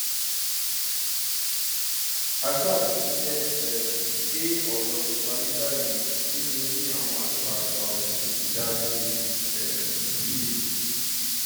a ṣáà ti dúpẹ um pé ọrọ ti parí báyìí nítorí àwọn àgbààgbà ọṣódì ti dá sí um i